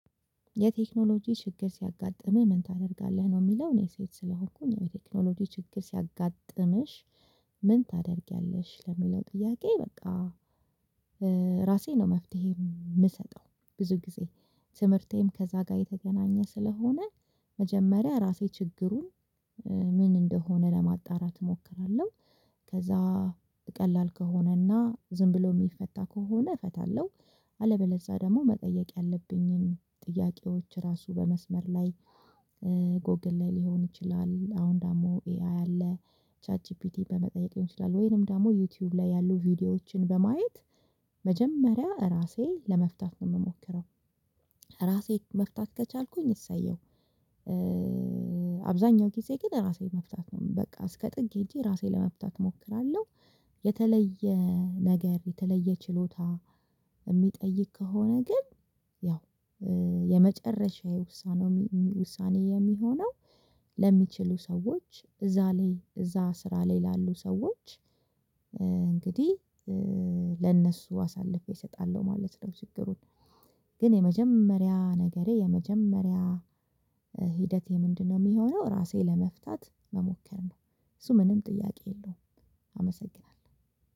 የቴክኖሎጂ ችግር ሲያጋጥምህ ምን ታደርጋለህ ነው ሚለው እኔ ሴት ስለሆንኩኝ የቴክኖሎጂ ችግር ሲያጋጥምሽ ምን ታደርጊያለሽ ለሚለው ጥያቄ? በቃ። ራሴ ነው መፍትሄ ምሰጠው ብዙ ጊዜ ትምህርቴም ከዛ ጋር የተገናኘ ስለሆነ መጀመሪያ ራሴ ችግሩን ምን እንደሆነ ለማጣራት እሞክራለሁ። ከዛ ቀላል ከሆነና ዝም ብሎ ሚፈታ ከሆነ እፈታለሁ። አለበለዛ ደግሞ መጠየቅ ያለብኝን ጥያቄዎች ራሱ በመስመር ላይ። ጎግል ላይ ሊሆን ይችላል አሁን ደግሞ ኤአይ አለ። ቻት ጂፒቲ በመጠየቅ ይሆናል ወይንም ደግሞ ዩቲዩብ ላይ ያሉ ቪዲዮዎችን በማየት መጀመሪያ ራሴ ለመፍታት ነው ምሞክረው። ራሴ መፍታት ከቻልኩኝ እሰየው። አብዛኛው ጊዜ ግን ራሴ መፍታት ነው በቃ እስከ ጥግ ሄጄ ራሴ ለመፍታት እሞክራለሁ። የተለየ ነገር የተለየ ችሎታ ሚጠይቅ ከሆነ ግን ያው የመጨረሻዬ ውሳኔ ውሳኔ የሚሆነው ለሚችሉ ሰዎች እዛ ላይ እዛ ስራ ላይ ላሉ ሰዎች። እንግዲህ ለእነሱ አሳልፌ እሰጣለሁ ማለት ነው። ችግሩን ግን የመጀመሪያ ነገሬ የመጀመሪያ ሂደቴ ምንድነው የሚሆነው ራሴ ለመፍታት መሞከር ነው። እሱ ምንም ጥያቄ የለውም። አመሰግናለሁ።